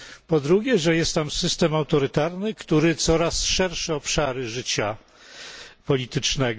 Po drugie, że jest tam system autorytarny, który zagarnia coraz szersze obszary życia politycznego.